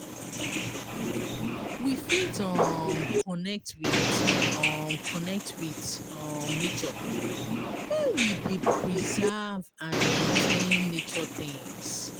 We fit um connect with um connect with um nature when we dey preserve and maintain nature things